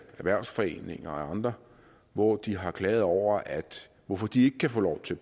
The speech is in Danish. erhvervsforeninger og andre hvor de har klaget over hvorfor de ikke kan få lov til